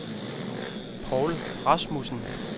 Povl Rasmussen